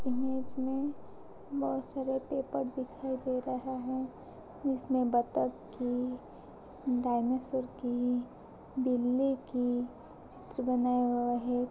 इस इमेज में बहोत सारे पेपर दिखाई दे रहा हैं जिसमे बत्तख की डायनासोर की बिल्ली की चित्र बनाया हुआ हैं।